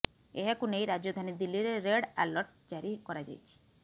ଏହାକୁ ନେଇ ରାଜଧାନୀ ଦିଲ୍ଲୀରେ ରେଡ୍ ଆଲର୍ଟ ଜାରି କରାଯାଇଛି